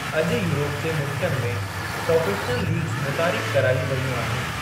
अॼु यूरोप जे मुल्कनि में प्रोफ़ेशनल लीग्ज़ मुतारिफ़ करायूं वेयूं आहिनि।